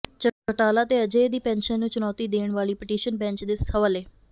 ਚੌਟਾਲਾ ਤੇ ਅਜੇ ਦੀ ਪੈਨਸ਼ਨ ਨੂੰ ਚੁਣੌਤੀ ਦੇਣ ਵਾਲੀ ਪਟੀਸ਼ਨ ਬੈਂਚ ਦੇ ਹਵਾਲੇ